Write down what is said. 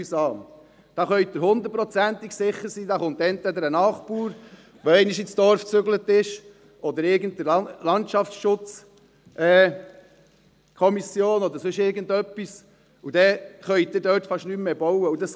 Es entstehen Einkaufszentren, grosse Parkplätze, Infrastrukturen und teilweise auch Bürogebäude.